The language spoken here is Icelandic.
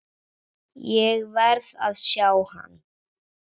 Ég verð að sjá hann.